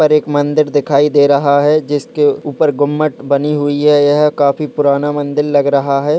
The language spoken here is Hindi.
एक मंदिर दिखाई दे रहा है जिसके ऊपर गुंबज बनी हुई है यह काफी पुराना मंदिर लग रहा है।